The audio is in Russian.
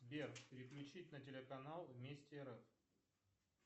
сбер переключить на телеканал вместе рф